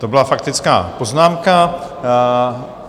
To byla faktická poznámka.